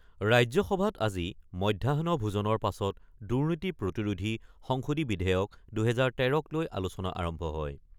ৰাজ্যসভাত আজি মধ্যাহ্ন ভোজনৰ পাছত দুৰ্নীতি প্ৰতিৰোধী সংশোধনী বিধেয়ক-২০১৩ক লৈ আলোচনা আৰম্ভ হয়।